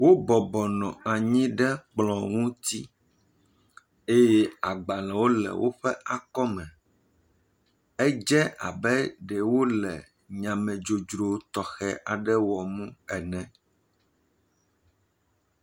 Wo bɔbɔ nɔ anyi ɛe kplɔ ŋuti eye agbalẽwo le woƒe akɔme. Edze abe ɖewo le nya me dzrodzro ɖe wɔm ene